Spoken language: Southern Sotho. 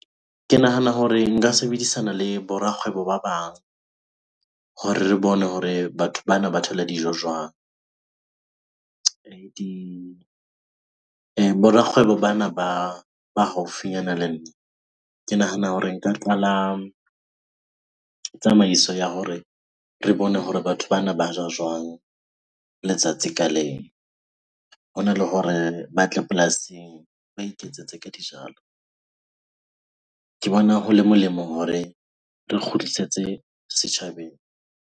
Ke nahana hore nka sebedisana le bo rakgwebo ba bang hore re bone hore batho bana ba thola dijo jwang? bo rakgwebo bana ba haufinyana le nna, ke nahana hore nka qala tsamaiso ya hore re bone hore batho bana ba ja jwang letsatsi ka leng. Hona le hore ba tle polasing, ba iketsetsa ka dijalo. Ke bona ho le molemo hore re kgutlisetse setjhabeng.